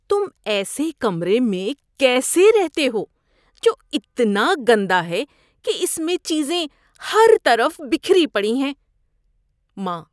تم ایسے کمرے میں کیسے رہتے ہو جو اتنا گندہ ہے کہ اس میں چیزیں ہر طرف بکھری پڑی ہیں؟ (ماں)